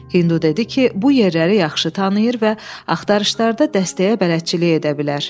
Hindu dedi ki, bu yerləri yaxşı tanıyır və axtarışlarda dəstəyə bələdçilik edə bilər.